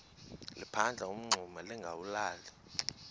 liphanda umngxuma lingawulali